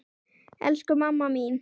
Elsku mamma mín!